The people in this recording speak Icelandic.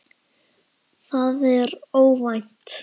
Það er óvænt.